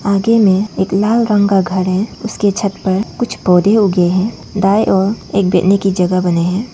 आगे में एक लाल रंग का घर है उसके छत पर कुछ पौधे उगे हैं दाई और एक बैठने की जगह बने हैं।